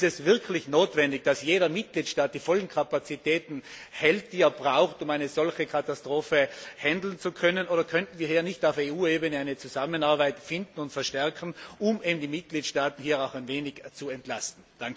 Ist es wirklich notwendig, dass jeder Mitgliedstaat die vollen Kapazitäten erhält, die er braucht, um eine solche Katastrophe bewältigen zu können, oder könnten wir hier nicht auf EU Ebene eine Zusammenarbeit finden und verstärken, um die Mitgliedstaaten auch ein wenig zu entlasten?